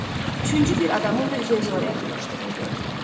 Üçüncü bir adamın da üzə-üzə ora yaxınlaşdığını gördülər.